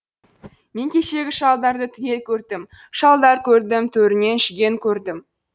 мен кешегі шалдарды түгел көрдім шалдар көрдім төрінен жүген көрдім